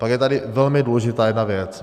Pak je tady velmi důležitá jedna věc.